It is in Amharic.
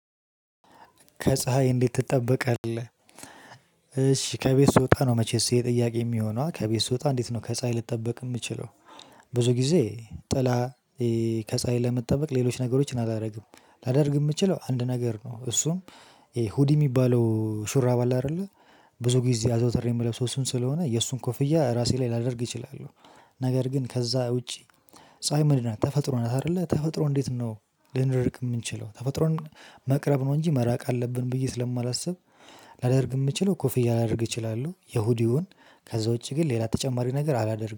ከፀሀይ እንዴት ትጠበቃለህ እሺ ከቤት ስወጣ ነው መቼስ ይሄ ጥያቄ የሚሆነዋ ከቤት ስወጣ እንዴት ነው ከፀሀይ ልትጠብቅ የምችለው። ብዙ ጊዜ ጥላ ከፀሀይ ለመጠበቅ ሌሎች ነገሮችን አላደርግም። ላደርግ የምችለው አንድ ነገር ነው። እሱም ይሄ ሁዲ የሚባለው ሹራብ አለ አይደለ ብዙ ጊዜ አዘውትሬ የምለብሰው እሱን ስለሆነ የእሱን ኮፍያ ራሴ ላይ ላደርግ እችላለሁ። ነገር ግን ከዛ ውጪ። ፀሀይ ምንድናት ተፈጥሮ ናት አይደለ ተፈጥሮ እንዴት ነው? ልንርቅ የምንችለው ተፈጥሮን መቅረብ ነው እንጂ መራቅ አለብን። ብዬ ስለማላስብ። ላደርግ የምችለው ኮፍያ ላደርግ እችላለሁ የሁዲውን ከዛ ውጪ ግን ሌላ ተጨማሪ ነገር አላደርግም